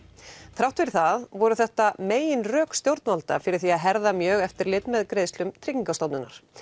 þrátt fyrir það voru þetta meginrök stjórnvalda fyrir því að herða mjög eftirlit með greiðslum Tryggingastofnunar